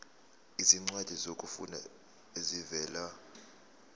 izincwadi zokufunda ezivela